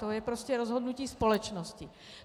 To je prostě rozhodnutí společnosti.